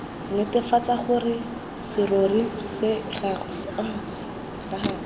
netefatsa gore serori sa gagwe